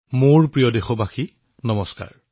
মোৰ মৰমৰ দেশবাসীসকল নমস্কাৰ